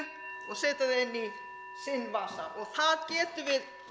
og setja það inn í sinn vasa og það getum við